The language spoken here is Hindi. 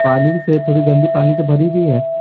पानी से थोड़ी गंदी पानी से भरी हुई है।